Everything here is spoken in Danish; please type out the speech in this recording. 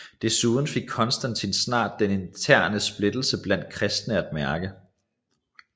Desuden fik Konstantin snart den interne splittelse blandt kristne at mærke